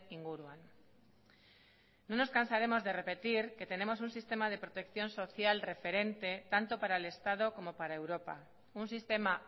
inguruan no nos cansaremos de repetir que tenemos un sistema de protección social referente tanto para el estado como para europa un sistema